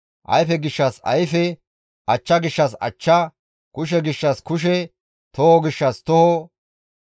ayfe gishshas ayfe, achcha gishshas achcha, kushe gishshas kushe, toho gishshas toho,